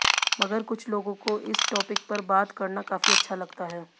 मगर कुछ लोगों को इस टॉपिक पर बात करना काफी अच्छा लगता है